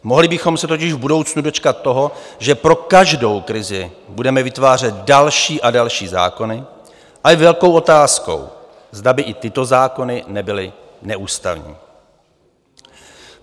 Mohli bychom se totiž v budoucnu dočkat toho, že pro každou krizi budeme vytvářet další a další zákony, a je velkou otázkou, zda by i tyto zákony nebyly neústavní.